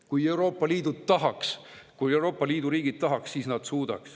Kui Euroopa Liidu riigid tahaks, siis nad suudaks.